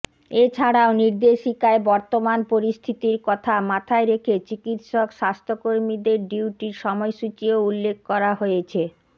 এছাড়াও নির্দেশিকায় বর্তমান পরিস্থিতির কথা মাথায় রেখে চিকিৎসক স্বাস্থ্যকর্মীদের ডিউটির সময়সূচিও উল্লেখ করা হয়েছে